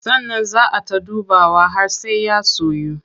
Sannan zaa ay ta dubawa har sai ya soyu.